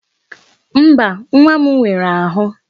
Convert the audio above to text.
Mba, nwa m nwere ahụ.